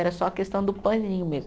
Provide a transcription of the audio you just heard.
Era só a questão do paninho mesmo.